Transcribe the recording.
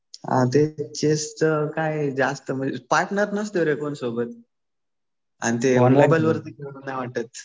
हा ते चेसचं काय पार्टनर नसतो रे कोणी सोबत. आणि ते मोबाईल वरती खेळू नाही वाटत.